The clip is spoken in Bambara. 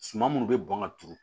Suma minnu bɛ bɔn ka turu